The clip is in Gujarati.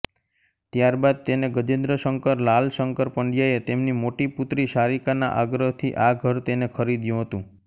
ત્યારબાદ તેને ગજેન્દ્રશંકર લાલશંકર પંડ્યાએ તેમની મોટી પુત્રી સારિકાના આગ્રહથી આ ઘર તેને ખરીદ્યું હતું